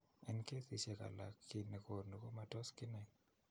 En kesiisyek alak kiiy ne koonu komatos kenay